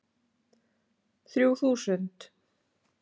Þrjú þúsund